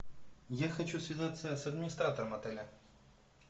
я хочу связаться с администратором отеля